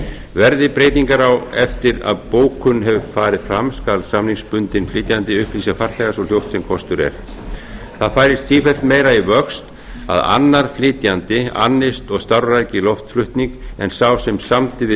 verði breytingar á eftir að bókun hefur farið fram skal samningsbundinn flytjanda upplýsa farþega svo fljótt sem kostur er það færist sífellt meira í vöxt að annar flytjandi annist og starfræki loftflutning en sá sem samdi á